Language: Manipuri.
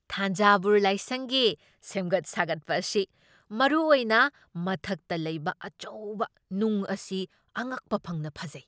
ꯊꯥꯟꯖꯥꯕꯨꯔ ꯂꯥꯏꯁꯪꯒꯤ ꯁꯦꯝꯒꯠ ꯁꯥꯒꯠꯄ ꯑꯁꯤ, ꯃꯔꯨꯑꯣꯏꯅ ꯃꯊꯛꯇ ꯂꯩꯕ ꯑꯆꯧꯕ ꯅꯨꯡ ꯑꯁꯤ ꯑꯉꯛꯄ ꯐꯪꯅ ꯐꯖꯩ꯫